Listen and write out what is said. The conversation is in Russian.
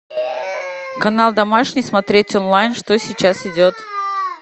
канал домашний смотреть онлайн что сейчас идет